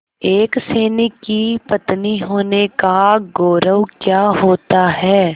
एक सैनिक की पत्नी होने का गौरव क्या होता है